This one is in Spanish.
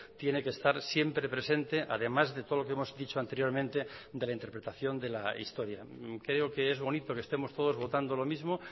tiene que estar siempre presente además de todo lo que hemos dicho anteriormente de la interpretación de la historia creo que es bonito que estemos todos votando lo mismo